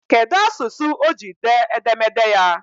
Kedụ asụsụ o ji dee edemede ya?